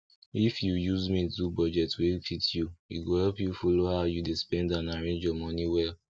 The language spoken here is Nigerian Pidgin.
if you use mint do budget wey fit you e go help you follow how you dey spend and arrange your moni well